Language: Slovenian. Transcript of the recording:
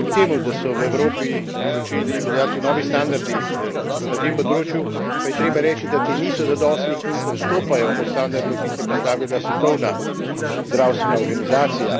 Kljub temu, da so v Evropi začeli veljavi novi standardi na tem področju, pa je treba reči, da ti niso zadostni in odstopajo od standardov, ki jih je postavila Svetovna zdravstvena organizacija.